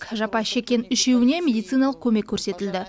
жапа шеккен үшеуіне медициналық көмек көрсетілді